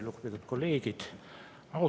Lugupeetud kolleegid!